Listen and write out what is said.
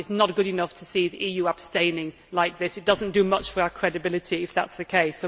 It is not good enough to see the EU abstaining like this. It does not do much for our credibility if that is the case.